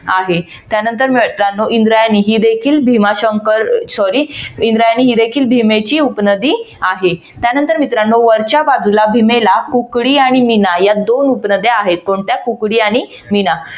आहे त्यानंतर इंद्रायणी ही देखील भीमाशंकर sorry इंद्रायणी ही देखील भीमेची उपनदी आहे. त्यानंतर मित्रानो वरच्या बाजूला भीमेला कुकडी आणि मीना या दोन उपनद्या आहेत. कोणत्या? कुकडी आणि मीना